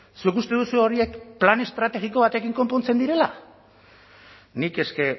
zuk uste duzu horiek plan estrategiko batekin konpontzen direla nik eske